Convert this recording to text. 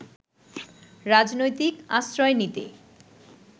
রাজনৈতিক আশ্রয় নিতে